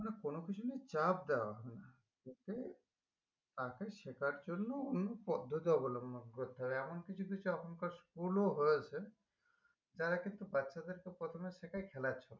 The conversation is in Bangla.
মানে কোনকিছু নিয়ে চাপ তাকে শেখার জন্য অন্য পদ্দত্থি অবলম্বন করতে হবে এমন কিছু কিছু এখনকার school ও হয়েছে যারা কিন্তু বাচ্চাদেরকে প্রথমে শেখাই খেলার ছন্দে